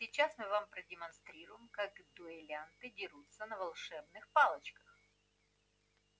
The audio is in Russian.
сейчас мы вам продемонстрируем как дуэлянты дерутся на волшебных палочках